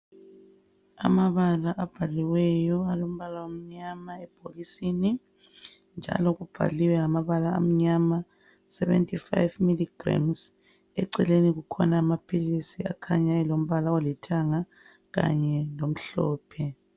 Amabala abhaliweyo alombala omnyama ebhokisini njalo kubhaliwe ngamabala amnyama 75ml grams eceleni kukhona amaphilisi akhanya elombala olithanga kanye lomhlophe.